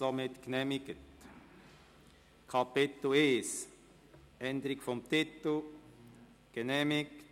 Er ist nicht bestritten und damit genehmigt.